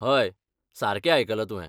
हय, सारकें आयकलां तुवें